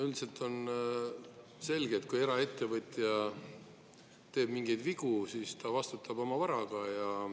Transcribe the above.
Üldiselt on selge, et kui eraettevõtja teeb mingeid vigu, siis ta vastutab oma varaga.